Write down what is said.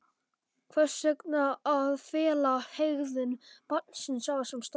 Hvers vegna að fela hegðun barnsins á þessum stað?